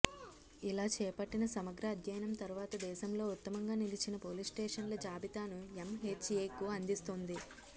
ఇలా చేపట్టిన సమగ్ర అధ్యయనం తర్వాత దేశంలో ఉత్తమంగా నిలిచిన పోలీసుస్టేషన్ల జాబితాను ఎంహెచ్ఏకు అందిస్తుంది